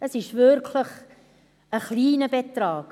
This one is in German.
Es ist wirklich ein kleiner Betrag.